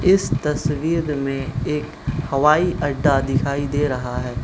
इस तस्वीर में एक हवाई अड्डा दिखाई दे रहा है।